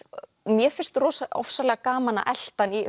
mér finnst ofsalega gaman að elta hann í